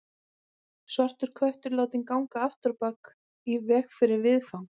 Svartur köttur látinn ganga afturábak í veg fyrir viðfang.